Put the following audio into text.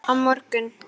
Á morgun